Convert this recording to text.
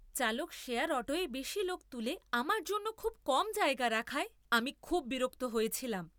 চালক শেয়ার অটোয় বেশি লোক তুলে আমার জন্য খুব কম জায়গা রাখায় আমি খুব বিরক্ত হয়েছিলাম।